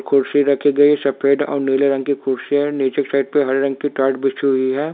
कुर्सी रखी गई सफेद और नीले रंग की कुर्सी है नीचे की साइड पे हरी रंग की टाट बिछी हुई है।